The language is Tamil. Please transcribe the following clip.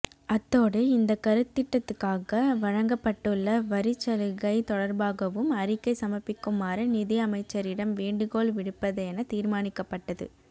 அத்தோடு இந்த கருத்திட்டத்துக்காக வழங்கப்பட்டுள்ள வரிச்சலுகை தொடர்பாகவும் அறிக்கை சமர்ப்பிக்குமாறு நிதி அமைச்சரிடம் வேண்டுகோள் விடுப்பதென தீர்மானிக்கப்பட்டது